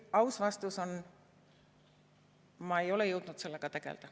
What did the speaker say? Aus vastus on, et ma ei ole jõudnud sellega tegelda.